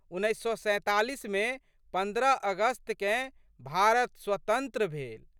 उन्नैस सए सैंतालीसमे पन्द्रह अगस्तकेँ भारत स्वतंत्र भेल।